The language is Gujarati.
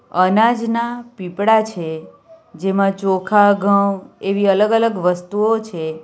અનાજના પીપળા છે જેમાં ચોખા ઘઉં એવી અલગ-અલગ વસ્તુઓ છે.